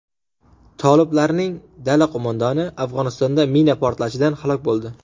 Toliblarning dala qo‘mondoni Afg‘onistonda mina portlashidan halok bo‘ldi.